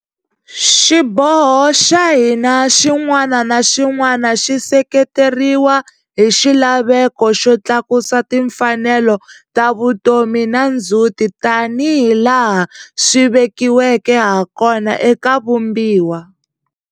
Xiboho xa hina xin'wana na xin'wana xi seketeriwa hi xilaveko xo tlakusa timfanelo ta vutomi na ndzhuti tanihi laha swi vekiweke hakona eka Vumbiwa.